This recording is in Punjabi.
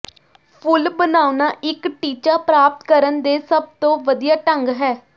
ਫੁੱਲ ਬਣਾਉਣਾ ਇੱਕ ਟੀਚਾ ਪ੍ਰਾਪਤ ਕਰਨ ਦੇ ਸਭ ਤੋਂ ਵਧੀਆ ਢੰਗ ਹੈ